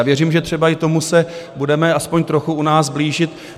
A věřím, že třeba i tomu se budeme alespoň trochu u nás blížit.